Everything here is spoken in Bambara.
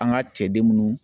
An ka cɛden minnu